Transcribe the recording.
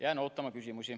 Jään ootama küsimusi.